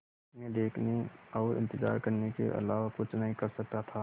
मैं देखने और इन्तज़ार करने के अलावा कुछ नहीं कर सकता था